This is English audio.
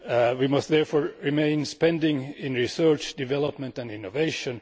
We must therefore maintain spending in research, development and innovation.